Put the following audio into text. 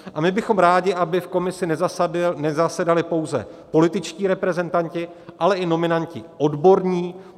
A my bychom rádi, aby v komisi nezasedali pouze političtí reprezentanti, ale i nominanti odborní.